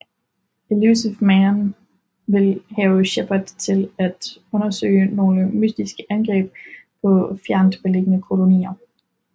Illusive Man vil have Shepard til at undersøge nogle mystiske angreb på fjernt liggende kolonier